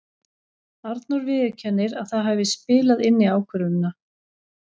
Arnór viðurkennir að það hafi spilað inn í ákvörðunina.